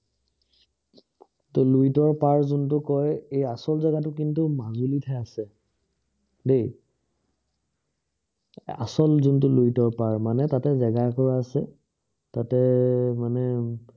লুইতৰ পাৰ যোনটোক কয় এই আচল জেগাটো কিন্তু মাজুলীত হে আছে দেই আচল যোনটো লুইতৰ পাৰ মানে তাতে জেগা একুৰা আছে তাতে মানে